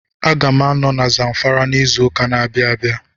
A ga m anọ na Zamfara n'izu ụka na-abịa abịa